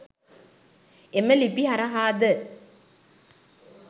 එම ලිපි හරහාද